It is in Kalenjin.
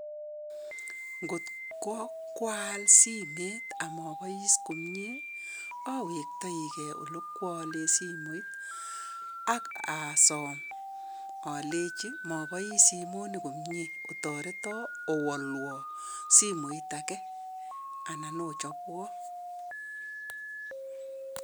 Ngot ko kwaal simet ak mobois komye, awektoikei ole kwaale simoit, ak asom aleji mobois simoni komye, otoreto owolwo simoit age anan ochobwo.